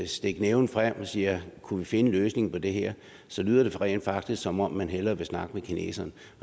stikker næven frem og siger kunne vi finde en løsning på det her så lyder det rent faktisk som om man hellere vil snakke med kineserne